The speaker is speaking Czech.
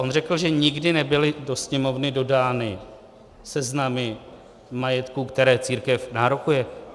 On řekl, že nikdy nebyly do Sněmovny dodány seznamy majetku, který církev nárokuje.